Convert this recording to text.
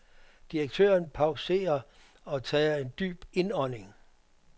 Direktøren pauserer og tager en dyb indånding.